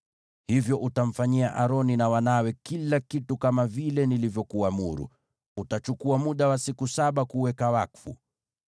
“Hivyo utamfanyia Aroni na wanawe kila kitu kama vile nilivyokuamuru: Utachukua muda wa siku saba kuwaweka wakfu.